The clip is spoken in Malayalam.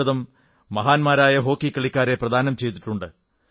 ഭാരതം മഹാന്മാരായ ഹോക്കി കളിക്കാരെ പ്രദാനം ചെയ്തിട്ടുണ്ട്